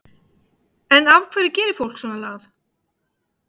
En af hverju gerir fólk svona lagað?